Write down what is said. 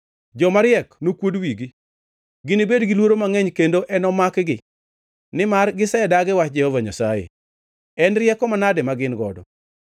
Jomariek nokuod wigi; ginibed gi luoro mangʼeny kendo enomakgi. Nimar gisedagi wach Jehova Nyasaye, en rieko manade ma gin godo?